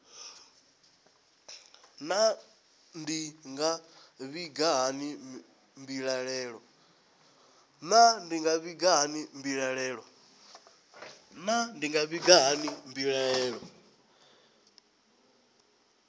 naa ndi nga vhiga hani mbilaelo